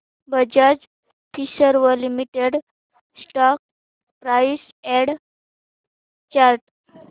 Bajaj Finserv limited stock price and chart